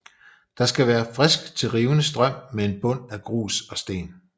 Der skal være frisk til rivende strøm med en bund af grus og sten